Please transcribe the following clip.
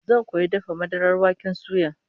Zan koyi dafa madarar waken suya